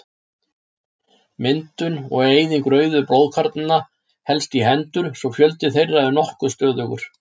Myndun og eyðing rauðu blóðkornanna helst í hendur svo fjöldi þeirra er nokkuð stöðugur.